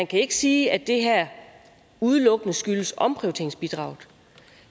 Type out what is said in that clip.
kan sige at det her udelukkende skyldes omprioriteringsbidraget